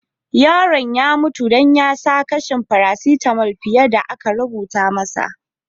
Yaron ya mutu dan ya sa kashin parasitamul fiyar da aka rubuta masa.